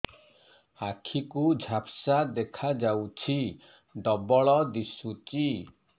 ଆଖି କୁ ଝାପ୍ସା ଦେଖାଯାଉଛି ଡବଳ ଦିଶୁଚି